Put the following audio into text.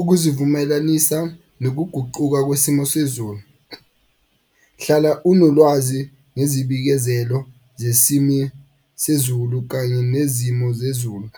Ukuzivumelanisa nokuguquka kwesimo sezulu. Hlala unolwazi ngezibikezelo sezulu kanye nezimo zezulu.